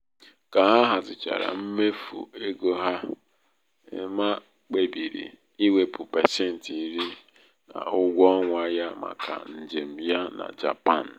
ka ha hazichara hazichara mmefu égo ha ema kpebiri iwepụ pasenti iri n'ụgwọ ọnwa ya maka njem ya na japan.